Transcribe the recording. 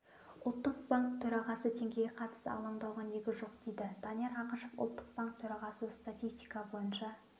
ұлттық банк төрағасы теңгеге қатысты алаңдауға негіз жоқ дейді данияр ақышев ұлттық банк төрағасы статистика бойынша